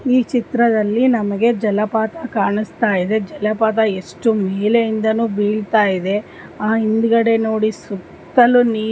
ಈ ಚಿತ್ರದಲ್ಲಿ ನಮಗೆ ಜಲಪಾತ ಕಾಣಿಸ್ತಾಯಿದೆ ಜಲಪಾತ ಎಷ್ಟು ಮೆಲೆಯಿಂದಾನೂ ಬಿಳ್ತಾಯಿದೆ ಆ ಹಿಂದ್ಗಡೆ ನೋಡಿ ಸುತ್ತಲೂ ನೀರು --